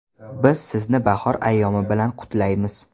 Biz sizni bahor ayyomi bilan qutlaymiz!